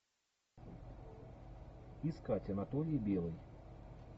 искать анатолий белый